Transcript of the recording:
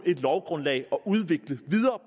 et lovgrundlag at udvikle videre